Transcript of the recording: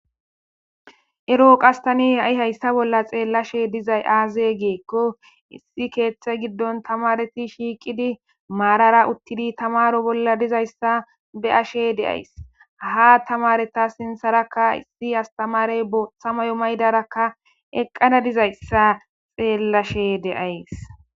Eroo qas tani ha7i hayssa bolla xeellashe dizay aaze geekko issi keeththe giddon tamareti shiiqidi maarara uttidi tamaro bolla dizayssa be ashe deays ha tamareta sintharakka issi astamarey bothamayo maydarakka eqqana dizayssa xeellashe deays.